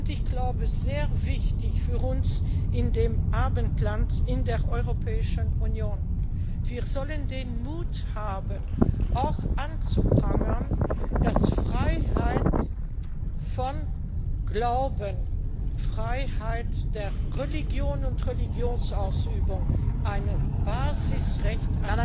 Und ich glaube, sehr wichtig für uns im Abendland, in der Europäischen Union Wir sollten den Mut haben, auch anzuprangern, dass Freiheit von Glauben, Freiheit der Religion und Religionsausübung ein Basisrecht